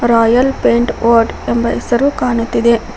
Royal pet world ಎಂಬ ಹೆಸರು ಕಾಣುತ್ತಿದೆ.